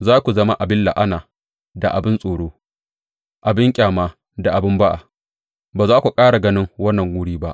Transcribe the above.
Za ku zama abin la’ana da abin tsoro, abin ƙyama da abin ba’a; ba za ku ƙara ganin wannan wuri ba.’